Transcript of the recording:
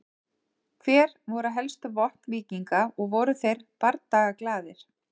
Hver voru helstu vopn víkinga og voru þeir bardagaglaðir?